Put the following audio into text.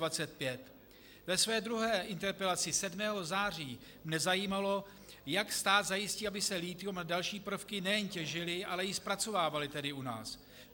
Ve své druhé interpelaci 7. září mne zajímalo, jak stát zajistí, aby se lithium a další prvky nejen těžily, ale i zpracovávaly tady u nás.